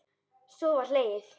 Svo var hlegið.